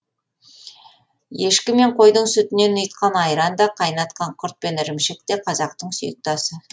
ешкі мен қойдың сүтінен ұйытқан айран да қайнатқан құрт пен ірімшік те қазақтың сүйікті асы